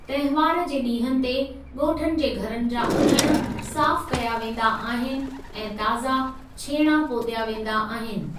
तंहिवार जे ॾींहनि ते, ॻोठनि जे घरनि जा अङण साफ़ कया वेंदा आहिनि ऐं ताज़ा छेणां पोत्‍या वेंदा आहिनि।